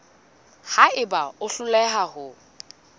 ha eba o hloleha ho